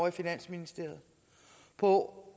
i finansministeriet på